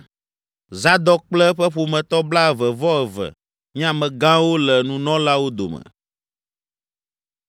Zadok kple eƒe ƒometɔ blaeve-vɔ-eve nye amegãwo le nunɔlawo dome.